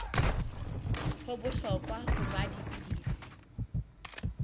ho bohlokwa ho nwa dipilisi